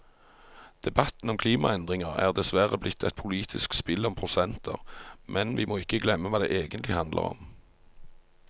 Debatten om klimaendringer er dessverre blitt et politisk spill om prosenter, men vi må ikke glemme hva det egentlig handler om.